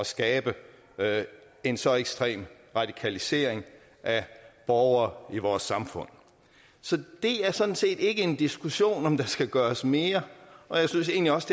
skabe en så ekstrem radikalisering af borgere i vores samfund så det er sådan set ikke en diskussion om hvorvidt der skal gøres mere og jeg synes egentlig også